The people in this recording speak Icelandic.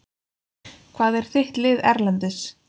Hvað er þitt lið Erlendis?